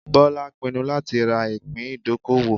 Bola pinnu lati ra ipin idokowo